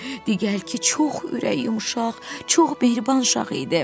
Degəl ki, çox ürəyi yumşaq, çox mehriban şaq idi.